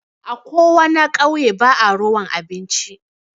A Ko wana ƙauye ba'a rowan abinci.